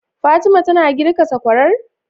Fatima tana girka sakwarar?